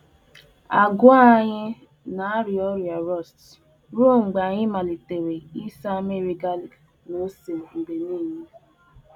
Ụtụ nabuuru agba n'agwa anyị ruokwa mgbe anyị malitere ịgba ya ntụ garlic a gwakotara ose kwa mgbe.